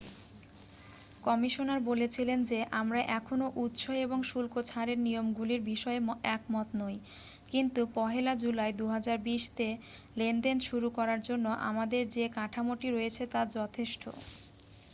"Commissioner বলেছিলেন যে "আমরা এখনও উৎস এবং শুল্ক ছাড়ের নিয়মগুলির বিষয়ে একমত নই কিন্তু 1'লা জুলাই 2020 তে লেনদেন শুরু করার জন্য আমাদের যে কাঠামোটি রয়েছে তা যথেষ্ট""।